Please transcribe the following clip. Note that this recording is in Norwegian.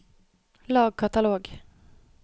lag katalog